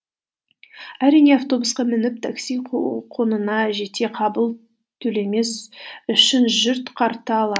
әрине автобусқа мініп такси құнына жете қабыл төлемес үшін жұрт карта